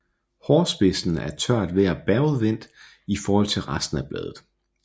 Hårspidsen er i tørt vejr bagudvendt i forhold til resten af bladet